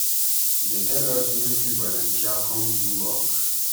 Dey tell us make we volunteer come do work.